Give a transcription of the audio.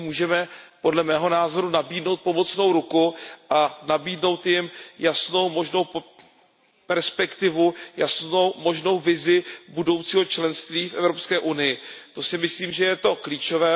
My můžeme, podle mého názoru, nabídnout pomocnou ruku a nabídnout jim jasnou, možnou perspektivu, jasnou, možnou vizi budoucího členství v Evropské unii. To si myslím, že je klíčové.